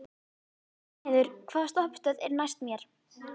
Reynheiður, hvaða stoppistöð er næst mér?